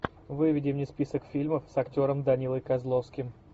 выведи мне список фильмов с актером данилой козловским